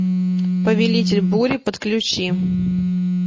повелитель бури подключи